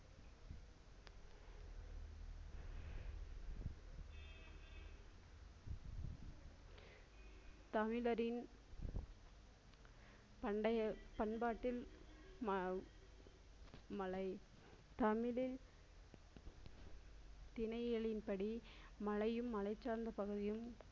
தமிழரின் பண்டைய பண்பாட்டில் மலை தமிழின் திணைகளின் படி மலையும் மலை சார்ந்த பகுதியும்